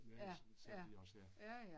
Ja. Ja. Ja ja